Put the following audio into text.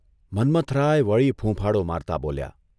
મન્મથરાય વળી ફૂંફાડો મારતા બોલ્યા.